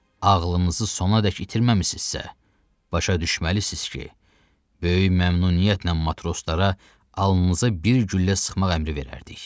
Ağlınızı sonadək itirməmisinizsə, başa düşməlisiniz ki, böyük məmnuniyyətlə matroslara alnınıza bir güllə sıxmaq əmri verərdik.